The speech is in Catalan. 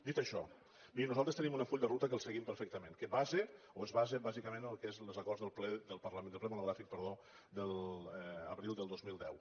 dit això miri nosaltres tenim un full de ruta que el seguim perfectament que es basa bàsicament en el que són els acords del ple del parlament del ple monogràfic de l’abril del dos mil deu